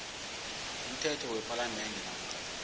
umthetho wepalamende namkha